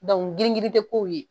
Dɔnku girin girin te kow ye